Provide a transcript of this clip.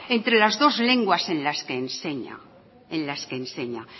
entre las dos lenguas en las que enseña